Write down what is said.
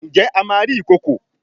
Njé a má rí Ìkokò?